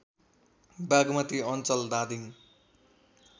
बागमती अञ्चल धादिङ